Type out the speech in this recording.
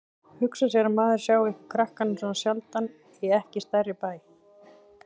Hugsa sér að maður sjái ykkur krakkana svona sjaldan í ekki stærri bæ.